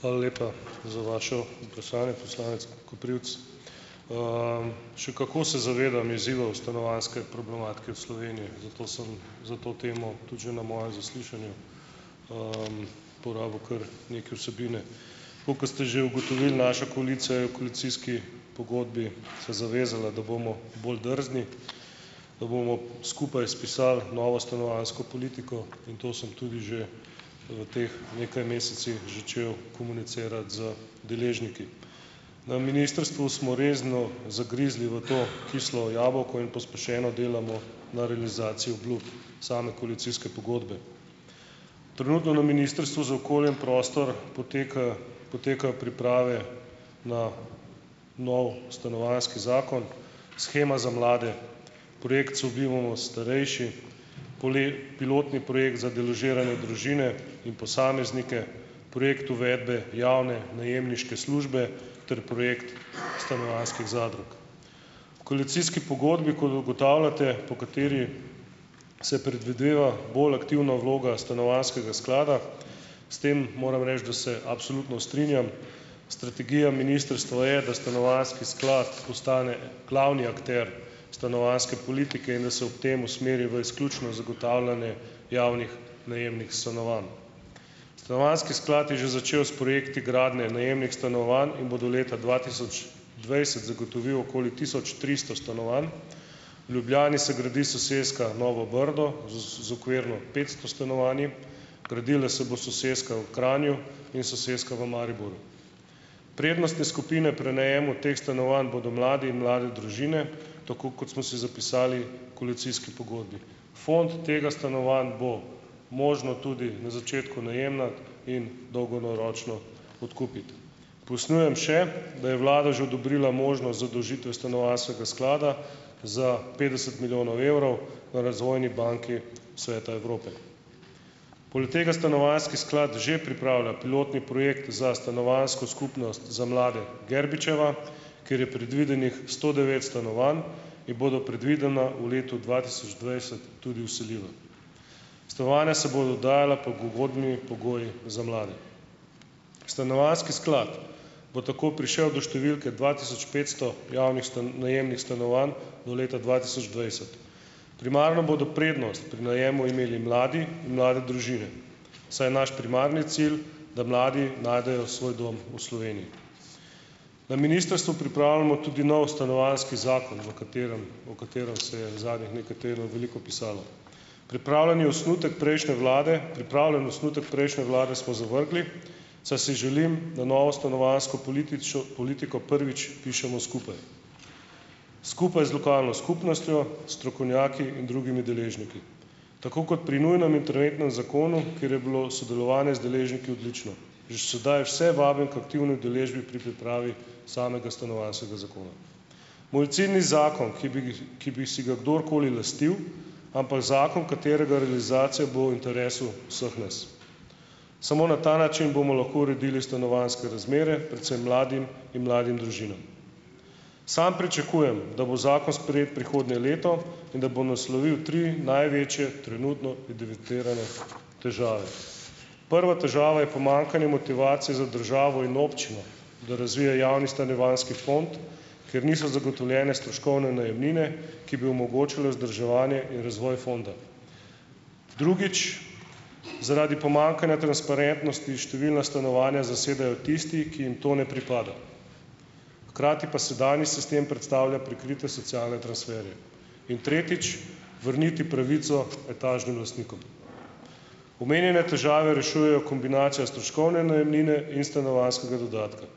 Hvala lepa za vaše vprašanje, poslanec Koprivc. Še kako se zavedam izzivov stanovanjske problematike v Sloveniji, zato sem za to temo tudi že na mojem zaslišanju porabil kar nekaj vsebine. Tako kot ste že ugotovili, naša koalicija je v koalicijski pogodbi se zavezala, da bomo bolj drzni, da bomo skupaj spisali novo stanovanjsko politiko in to sem tudi že v teh nekaj mesecih začel komunicirati z deležniki. Na ministrstvu smo resno zagrizli v to kislo jabolko in pospešeno delamo na realizaciji obljub same koalicijske pogodbe. Trenutno na Ministrstvu za okolje in prostor poteka, potekajo priprave na nov stanovanjski zakon, shema za mlade, projekt Sobivamo starejši, pilotni projekt za deložirane družine in posameznike, projekt uvedbe javne najemniške službe ter projekt stanovanjskih zadrug. V koalicijski pogodbi, kot ugotavljate, po kateri se predvideva bolj aktivna vloga stanovanjskega sklada, s tem moram reči, da se absolutno strinjam. Strategija ministrstva je, da stanovanjski sklad ostane glavni akter stanovanjske politike in da se ob tem usmeri v izključno zagotavljanje javnih najemnih stanovanj. Stanovanjski sklad je že začel s projekti gradnje najemnih stanovanj in bo do leta dva tisoč dvajset zagotovil okoli tisoč tristo stanovanj. V Ljubljani se gradi soseska Novo Brdo z okvirno petsto stanovanji, gradila se bo soseska v Kranju in soseska v Mariboru. Prednostne skupine pri najemu teh stanovanj bodo mladi in mlade družine, tako kot smo si zapisali koalicijski pogodbi. Fond tega stanovanj bo možno tudi na začetku najema in dolgoročno odkupiti. Pojasnjujem še, da je vlada že odobrila možnost zadolžitve stanovanjskega sklada za petdeset milijonov evrov na Razvojni banki Sveta Evrope. Poleg tega stanovanjski sklad že pripravlja pilotni projekt za stanovanjsko skupnost za mlade Gerbičeva, kjer je predvidenih sto devet stanovanj, in bodo predvidoma v letu dva tisoč dvajset tudi vseljiva. Stanovanja se bojo oddajala pod ugodnimi pogoji za mlade. Stanovanjski sklad bo tako prišel do številke dva tisoč petsto javnih najemnih stanovanj do leta dva tisoč dvajset. Primarno bodo prednost pri najemu imeli mladi in mlade družine, saj je naš primarni cilj, da mladi najdejo svoj dom v Sloveniji. Na ministrstvu pripravljamo tudi nov stanovanjski zakon, v katerem - o katerem se je zadnjih nekaj tednov veliko pisalo. Pripravljen je osnutek prejšnje vlade, pripravljen osnutek prejšnje vlade smo zavrgli, saj si želim, da novo stanovanjsko političo politiko prvič pišemo skupaj. Skupaj z lokalno skupnostjo, strokovnjaki in drugimi deležniki. Tako kot pri nujnem interventnem zakonu, kjer je bilo sodelovanje z deležniki odlično. Že sedaj vse vabim k aktivni udeležbi pri pripravi samega stanovanjskega zakona. Moj cilj ni zakon, ki bi ki bi si ga kdorkoli lastil, ampak zakon, katerega realizacija bo v interesu vseh nas. Samo na ta način bomo lahko uredili stanovanjske razmere, predvsem mladim in mladim družinam. Samo pričakujem, da bo zakon sprejet prihodnje leto in da bo naslovil tri največje trenutno evidentirane težave. Prva težava je pomanjkanje motivacije za državo in občino, da razvije javni stanovanjski fond, ker niso zagotovljene stroškovne najemnine, ki bi omogočale vzdrževanje in razvoj fonda. Drugič - zaradi pomanjkanja transparentnosti številna stanovanja zasedajo tisti, ki jim to ne pripada. Hkrati pa sedanji sistem predstavlja prikrite socialne transferje. In tretjič - vrniti pravico etažnim lastnikom. Omenjene težave rešujejo kombinacija stroškovne najemnine in stanovanjskega dodatka.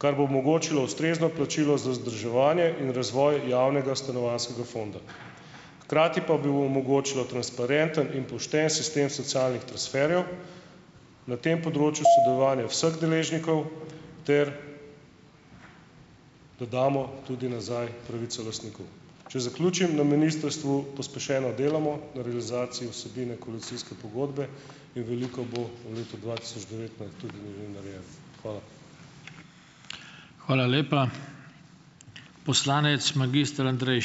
Kar bo omogočilo ustrezno plačilo za vzdrževanje in razvoj javnega stanovanjskega fonda. Hkrati pa bi omogočilo transparenten in pošten sistem socialnih transferjev, na tem področju sodelovanje vseh deležnikov, ter da damo tudi nazaj pravico lastniku. Če zaključim - na ministrstvu pospešeno delamo na realizaciji vsebine koalicijske pogodbe in veliko bo v letu dva tisoč devetnajst tudi narejeno. Hvala.